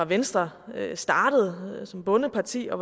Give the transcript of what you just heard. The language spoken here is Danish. venstre startede som bondeparti og